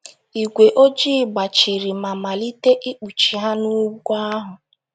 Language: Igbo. Ígwé ojii gbachiri ma malite ikpuchi ha n’ugwu ahụ.